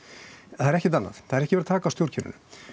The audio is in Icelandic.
það er ekkert annað það er ekki verið að taka á stjórnkerfinu